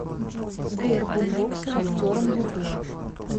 сбер бумбокс вахтерам ютуб